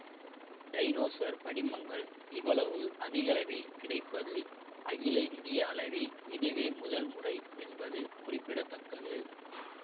dinosaur படிமங்கள் இவ்வளவு அதிகளவில் கிடைப்பது அகில இந்திய அளவில் இதுவே முதல் முறை என்பது குறிப்பிட தக்கது